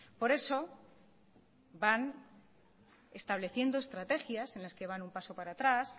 por eso van estableciendo estrategias en las que van un paso para atrás